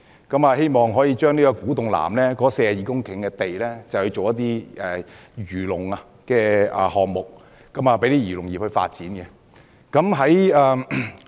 委員希望可以把古洞南的42公頃土地用作漁農發展項目，讓漁農業界發展。